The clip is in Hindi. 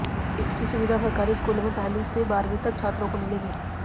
इसकी सुविधा सरकारी स्कूलों में पहली से बारहवीं तक छात्रों को मिलेगी